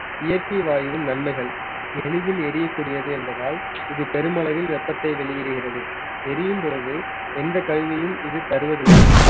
இயற்கை வாயுவின் நன்மைகள் எளிதில் எரியக்கூடியது என்பதால் இது பெருமளவில் வெப்பத்தை வெளியிடுகிறது எரியும் பொழுது எந்த கழிவையும் இது தருவதில்லை